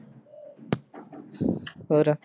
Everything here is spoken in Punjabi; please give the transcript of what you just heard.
ਹੋਰ?